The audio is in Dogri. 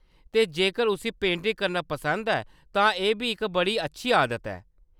ते, जेकर उसी पेंटिंग करना पसंद ऐ, तां एह्‌‌ बी इक बड़ी अच्छी आदत ऐ।